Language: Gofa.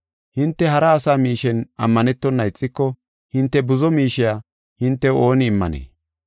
Hinte hara asa miishen ammanetona ixiko, hinte buzo miishe hintew ooni immanee?